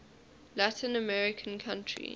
latin american country